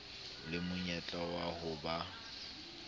le monyetla wa ho ba